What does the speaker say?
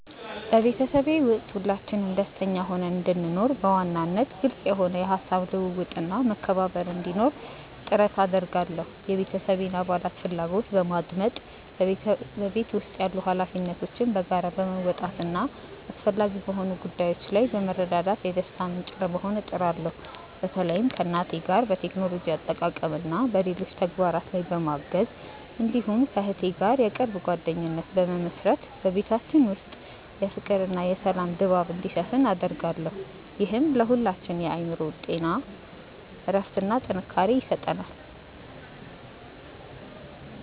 በቤተሰቤ ውስጥ ሁላችንም ደስተኛ ሆነን እንድንኖር፣ በዋናነት ግልጽ የሆነ የሐሳብ ልውውጥና መከባበር እንዲኖር ጥረት አደርጋለሁ። የቤተሰቤን አባላት ፍላጎት በማድመጥ፣ በቤት ውስጥ ያሉ ኃላፊነቶችን በጋራ በመወጣትና አስፈላጊ በሆኑ ጉዳዮች ላይ በመረዳዳት የደስታ ምንጭ ለመሆን እጥራለሁ። በተለይም ከእናቴ ጋር በቴክኖሎጂ አጠቃቀምና በሌሎች ተግባራት ላይ በማገዝ፣ እንዲሁም ከእህቴ ጋር የቅርብ ጓደኝነት በመመሥረት በቤታችን ውስጥ የፍቅርና የሰላም ድባብ እንዲሰፍን አደርጋለሁ። ይህም ለሁላችንም የአእምሮ እረፍትና ጥንካሬ ይሰጠናል።